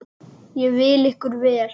Ég vil ykkur vel.